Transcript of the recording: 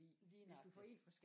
Lige nøjagtig